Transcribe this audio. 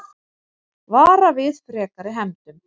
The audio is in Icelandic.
Vara við frekari hefndum